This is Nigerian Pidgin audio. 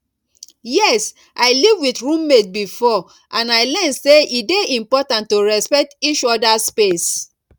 yes i live with roommate before and i learn say e dey important to respect each others space